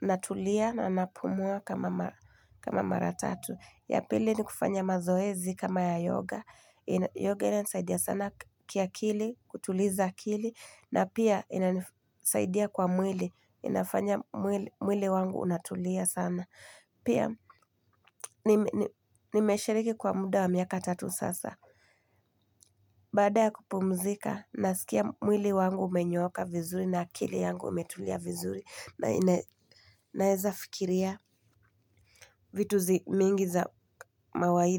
na tulia na napumua kama mara tatu. Ya pili ni kufanya mazoezi kama ya Yoga. Yoga inanisaidia sana kiakili, kutuliza akili, na pia inanisaidia kwa mwili. Inafanya mwili mwili wangu unatulia sana. Pia nimeshiriki kwa muda wa miaka tatu sasa. Bada ya kupumzika, nasikia mwili wangu umenyooka vizuri na akili yangu imetulia vizuri. Na naweza fikiria vitu zi mingi za mawaidha.